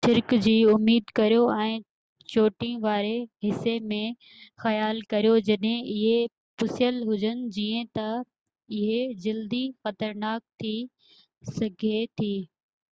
هن چيو ڇرڪ جي اميد ڪريو ۽ چوٽين واري حصي م خيال ڪريو جڏهن اهي پُسيل هجن جيئن تہ اهي جلدي خطرناڪ ٿي سگهي ٿي